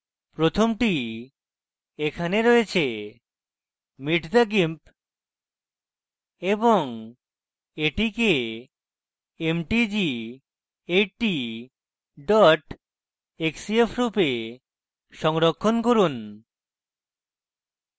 প্রথমটি এখানে রয়েছে meet the gimp এবং এটিকে mtg80 xcf রূপে সংরক্ষণ করুন